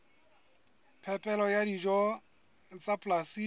phepelo ya dijo tsa polasing